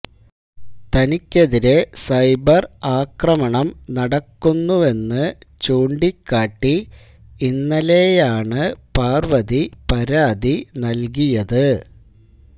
തനിക്കെതിരെ സൈബര് ആക്രമണം നടക്കുന്നുവെന്ന് ചൂണ്ടിക്കാട്ടി ഇന്നലെയാണ് പാര്വതി പരാതി നല്കിയത്